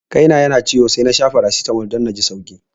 Kai na yana ciwo sai nasha faracitamol dan naji sauki